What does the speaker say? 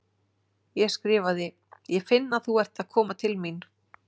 Ég skrifaði: Ég finn að þú ert að koma til mín.